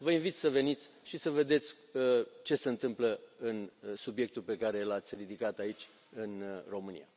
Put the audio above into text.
Vă invit să veniți și să vedeți ce se întâmplă, în subiectul pe care l ați ridicat aici, în România.